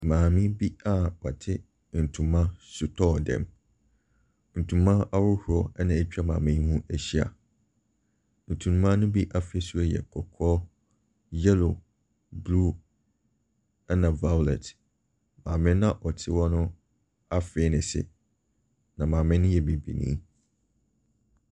Maame bi a ɔte ntoma sotɔɔ dɛm, ntoma ahodoɔ na ɛtwa maame yi ho ahyia. Ntoma no bi afɛsuo ɛyɛ kɔkɔɔ, yellow, blue ɛna violet. Maame na ɔte hɔ no afee ne se. Na maame no yɛ bibinii.